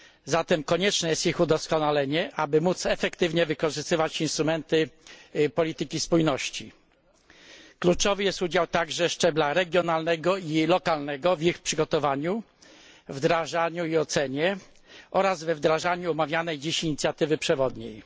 Zatem konieczne jest ich udoskonalenie, aby móc efektywnie wykorzystywać instrumenty polityki spójności. Kluczowy jest także udział szczebla regionalnego i lokalnego w ich przygotowaniu, wdrażaniu i ocenie oraz we wdrażaniu omawianej dziś inicjatywy przewodniej.